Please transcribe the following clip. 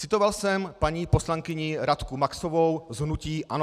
Citoval jsem paní poslankyni Radku Maxovou z hnutí ANO.